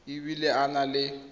e bile a na le